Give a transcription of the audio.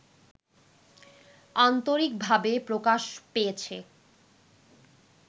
আন্তরিকভাবে প্রকাশ পেয়েছে